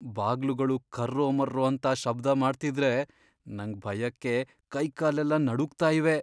ಬಾಗ್ಲುಗಳು ಕರ್ರೋಮರ್ರೋ ಅಂತ ಶಬ್ದ ಮಾಡ್ತಿದ್ರೆ ನಂಗ್ ಭಯಕ್ಕೆ ಕೈಕಾಲೆಲ್ಲ ನಡುಗ್ತಾ ಇವೆ.